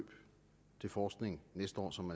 til forskning næste år som